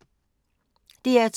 DR2